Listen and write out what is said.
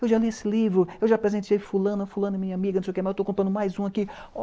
''Eu já li esse livro, eu já presenteei fulano, fulano, minha amiga, não sei o que, mas eu estou contando mais um aqui.''